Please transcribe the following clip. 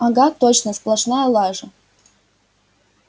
ага точно сплошная лажа